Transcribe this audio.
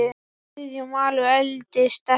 Guðjón Valur eldist ekki.